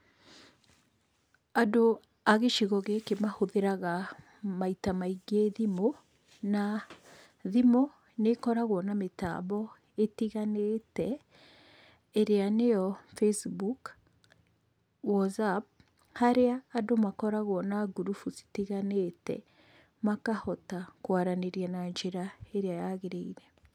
Andũ a gĩcigo gĩkĩ mahũthagĩra maita maingĩ thimũ, na thimũ nĩ ĩkoragwo na mĩtambo ĩtiganĩte, ĩrĩa nĩyo facebook, WhatsApp harĩa andũ makoragũo na ngurubu citiganĩte makahota kwaranĩria na njĩra ĩrĩa yagĩrĩire.